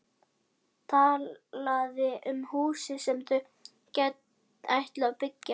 Talaði um húsið sem þau ætluðu að byggja.